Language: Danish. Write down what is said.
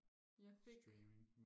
jeg fik